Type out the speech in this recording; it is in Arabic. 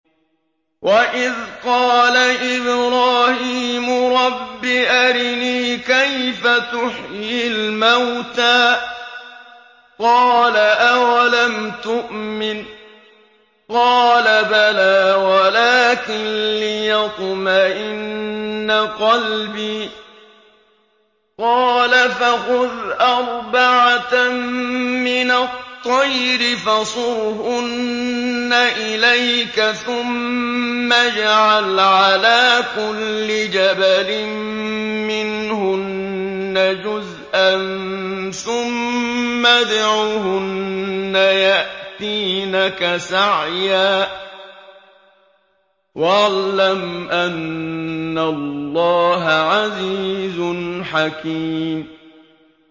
وَإِذْ قَالَ إِبْرَاهِيمُ رَبِّ أَرِنِي كَيْفَ تُحْيِي الْمَوْتَىٰ ۖ قَالَ أَوَلَمْ تُؤْمِن ۖ قَالَ بَلَىٰ وَلَٰكِن لِّيَطْمَئِنَّ قَلْبِي ۖ قَالَ فَخُذْ أَرْبَعَةً مِّنَ الطَّيْرِ فَصُرْهُنَّ إِلَيْكَ ثُمَّ اجْعَلْ عَلَىٰ كُلِّ جَبَلٍ مِّنْهُنَّ جُزْءًا ثُمَّ ادْعُهُنَّ يَأْتِينَكَ سَعْيًا ۚ وَاعْلَمْ أَنَّ اللَّهَ عَزِيزٌ حَكِيمٌ